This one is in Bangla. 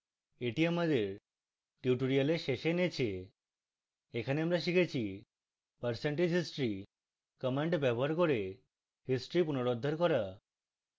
এই আমাদের tutorial শেষে এনেছে এখানে আমরা শিখেছি: